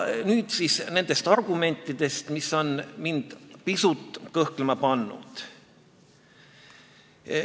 Nüüd siis nendest argumentidest, mis on mind pisut kõhklema pannud.